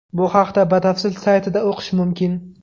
Bu haqda batafsil saytida o‘qish mumkin.